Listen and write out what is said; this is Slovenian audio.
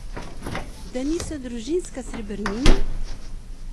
Da niso družinska srebrnina?